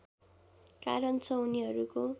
कारण छ उनीहरूको